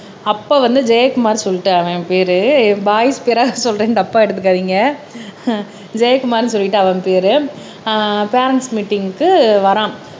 அப்ப வந்து ஜெயக்குமார் சொல்லிட்டு அவன் பெயரு பாய்ஸ் பெயரா சொல்றேன்னு தப்பா எடுத்துக்காதீங்க ஜெயக்குமார்ன்னு சொல்லிட்டு அவன் பெயரு ஆஹ் பேரண்ட்ஸ் மீட்டிங்க்கு வரான்